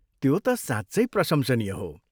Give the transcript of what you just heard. त्यो त साँच्चै प्रशंसनीय हो।